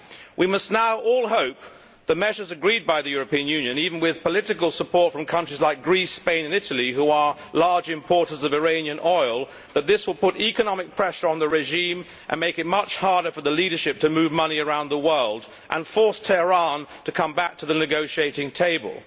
We must now all hope that measures agreed by the European Union, even with political support from countries like Greece, Spain and Italy, which are large importers of Iranian oil, will put economic pressure on the regime and make it much harder for the leadership to move money around the world and will force Tehran to come back to the negotiating table.